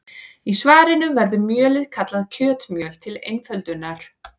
Í svarinu verður mjölið kallað kjötmjöl til einföldunar.